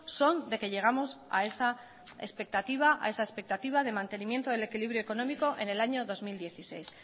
son de que llegamos a esa expectativa de mantenimiento del equilibrio económico en el año dos mil dieciséis